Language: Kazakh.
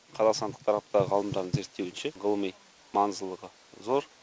қазақстандық тараптағы ғалымдардың зерттеуінше ғылыми маңыздылығы зор